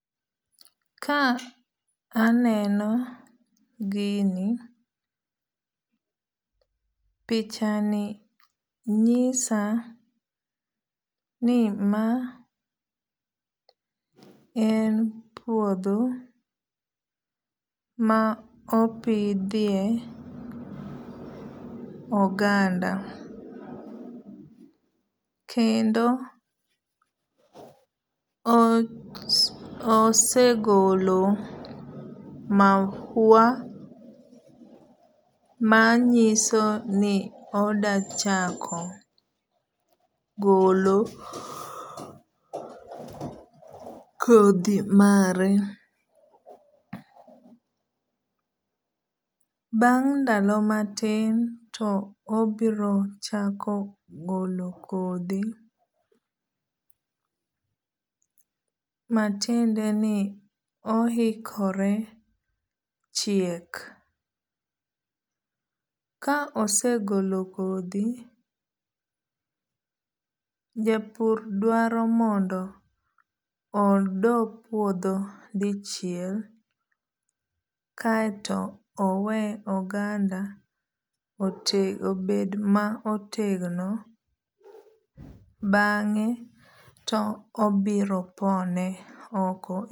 Ka aneno gini pichani nyisa ni ma en puodho ma opidhie oganda. Kendo osegolo mahua manyiso ni odachako golo kodhi mare. Bang' ndalo matin to obiro chako golo kodhi matiende ni ohikore chiek. Ka osegolo kodhi, japur dwaro mondo odo puodho dichiel. Kaeto owe oganda obed ma otegno bang'e to obiro pone oko.